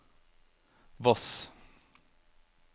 Voss